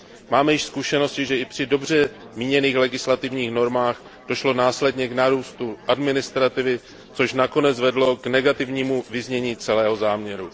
Máme již zkušenosti, že i při dobře míněných legislativních normách došlo následně k nárůstu administrativy, což nakonec vedlo k negativnímu vyznění celého záměru.